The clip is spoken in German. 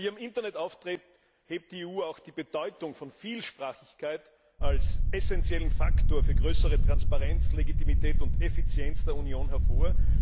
Bei ihrem Internetauftritt hebt die EU auch die Bedeutung der Vielsprachigkeit als wesentlichen Faktor für größere Transparenz, Legitimität und Effizienz der Union hervor.